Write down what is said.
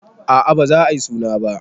Aa baza ayi suna ba